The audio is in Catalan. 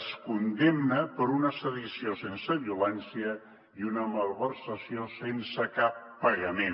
es condemna per una sedició sense violència i una malversació sense cap pagament